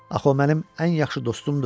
Axı o mənim ən yaxşı dostumdur.